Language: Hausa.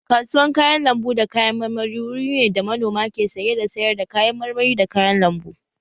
Kasuwan kayan lambu da kayan marmari wuri ne da manoma ke saye da sayar da kayan marmari da kayan lambu